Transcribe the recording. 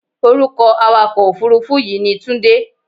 Orúkọ awakọ̀-òfuurufú yìí ni Tunde.